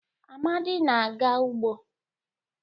Amadi na-aga ugbo.